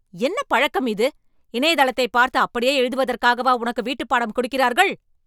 என்ன பழக்கம் இது! இணையதளத்தைப் பார்த்து அப்படியே எழுதுவதற்காகவா உனக்கு வீட்டுப்பாடம் கொடுக்கிறார்கள்?